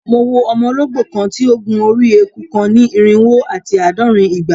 Mo wo ọmọ ologbo kan ti o gun ori eku kan ni irinwo ati aadọrin igba